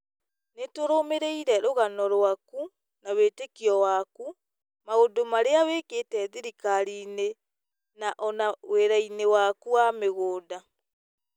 Nĩ tũrũmĩrĩire rũgano rwaku na wĩtĩkio waku, maũndũ marĩa wĩkĩte thirikari-inĩ na o na wĩra-inĩ waku wa mĩgũnda.